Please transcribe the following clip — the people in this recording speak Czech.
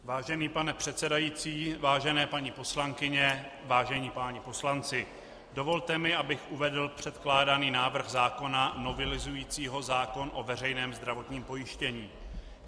Vážený pane předsedající, vážené paní poslankyně, vážení páni poslanci, dovolte mi, abych uvedl předkládaný návrh zákona novelizující zákon o veřejném zdravotním pojištění.